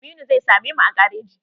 Aminu zai same mu a gareji.